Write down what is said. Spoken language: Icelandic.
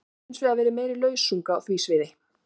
Það hefur hins vegar verið meiri lausung á því sviði.